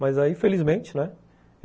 Mas aí, felizmente, né?